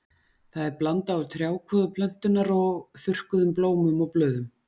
Það er blanda úr trjákvoðu plöntunnar og þurrkuðum blómum og blöðum.